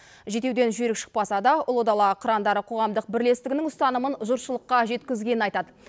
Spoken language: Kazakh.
жетеуден жүйрік шықпаса да ұлы дала қырандары қоғамдық бірлестігінің ұстанымын жұртшылыққа жеткізгенін айтады